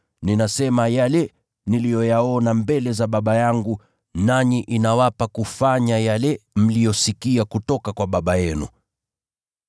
Ninasema yale niliyoyaona mbele za Baba yangu, nanyi inawapa kufanya yale mliyosikia kutoka kwa baba yenu.”